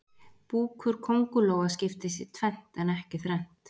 Búkur kóngulóa skiptist í tvennt en ekki þrennt.